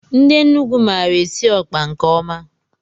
Ndị Enugu maara esi ọkpa nke ọma